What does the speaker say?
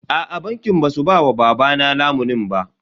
Aa bankin ba su ba wa babana lamunin ba.